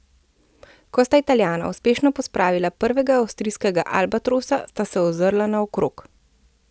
Ko sta Italijana uspešno pospravila prvega avstrijskega albatrosa, sta se ozrla naokrog.